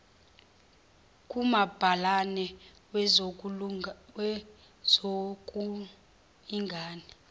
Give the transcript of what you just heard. kumabhalane wezokul ingana